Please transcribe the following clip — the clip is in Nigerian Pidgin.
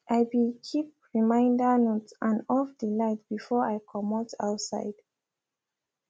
i be keep reminder note and off de light before i comot outside